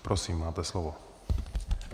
Prosím, máte slovo.